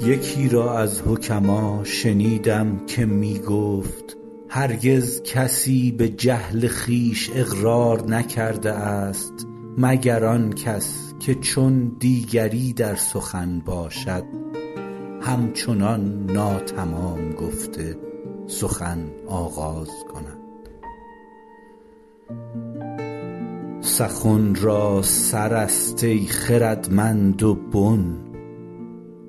یکی را از حکما شنیدم که می گفت هرگز کسی به جهل خویش اقرار نکرده است مگر آن کس که چون دیگری در سخن باشد هم چنان ناتمام گفته سخن آغاز کند سخن را سر است ای خردمند و بن